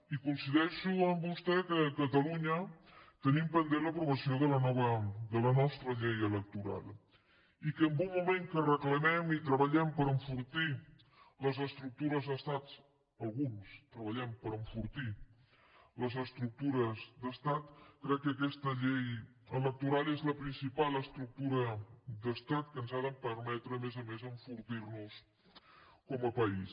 i coincideixo amb vostè que a catalunya tenim pendent l’aprovació de la nostra llei electoral i que en un moment que reclamem i treballem per enfortir les estructures d’estat alguns treballem per enfortir les estructures d’estat crec que aquesta llei electoral és la principal estructura d’estat que ens ha de permetre a més a més enfortir nos com a país